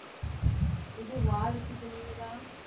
இது வாரிசு, துணிவுதான்